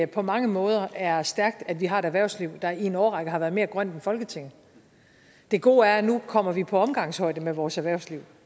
på mange måder er stærkt at vi har et erhvervsliv der i en årrække har været mere grønt end folketinget det gode er at nu kommer vi på omgangshøjde med vores erhvervsliv